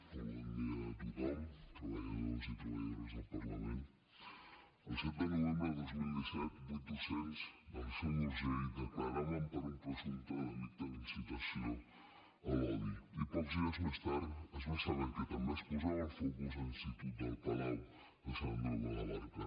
molt bon dia a tothom treballadores i treballadores del parlament el set de novembre de dos mil disset vuit docents de la seu d’urgell declaraven per un presumpte delicte d’incitació a l’odi i pocs dies més tard es va saber que també es posava el focus a l’institut el palau de sant andreu de la barca